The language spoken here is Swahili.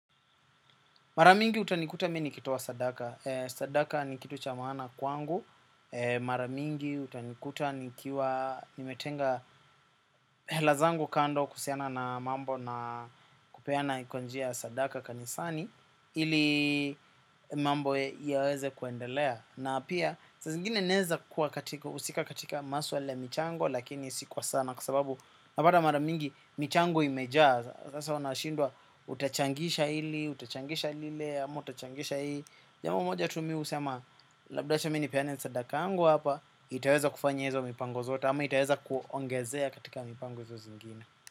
Mara mingi utanikuta mi nikitoa sadaka. Sadaka ni kitu cha maana kwangu. Mara mingi utanikuta nikiwa nimetenga hela zangu kando kuusiana na mambo na kupeana iko njia ya sadaka kanisani ili mambo yaweze kwendelea. Na pia saa zingine neza kua katika usika katika maswala ya michango lakini sikwa sana kwa sababu napata mara mingi michango imejaa sasa wanashindwa utachangisha ili, utachangisha lile, ama utachangisha ii jamo moja tu mi usema labdacha mi nipeane sadaka angu hapa itaweza kufanya hizo mipango zota ama itaweza kuongezea katika mipango izo zingine.